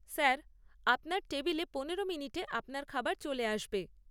Sir, আপনার টেবিলে পনেরো মিনিটে আপনার খাবার চলে আসবে।